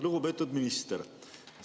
Lugupeetud minister!